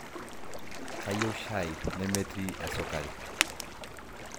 kayieu shai nemetii sukari